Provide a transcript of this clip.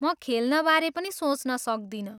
म खेल्ने बारे पनि सोच्न सक्दिनँ।